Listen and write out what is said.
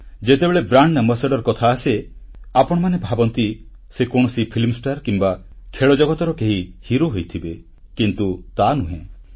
ଯେତେବେଳେ brand ambassador କଥା ଆସେ ଆପଣମାନେ ଭାବନ୍ତି ସେ କୌଣସି ଫିଲ୍ମ ଷ୍ଟାର କିମ୍ବା ଖେଳଜଗତର କେହି ହିରୋ ହୋଇଥିବେ କିନ୍ତୁ ତାନୁହେଁ